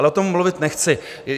Ale o tom mluvit nechci.